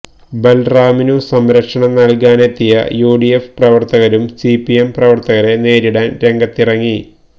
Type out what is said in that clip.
ബൽറാമിനു സംരക്ഷണം നൽകാനെത്തിയ യുഡിഎഫ് പ്രവർത്തകരും സിപിഎം പ്രവർത്തകരെ നേരിടാൻ രംഗത്തിറങ്ങി